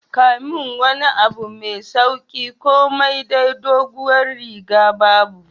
Kamin wani abu mai sauki kamai dai dogowar riga bubu.